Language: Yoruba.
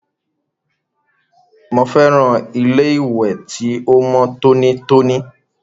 Mo fẹ́ràn ilé ìwẹ̀ ti o mọ tonítoní.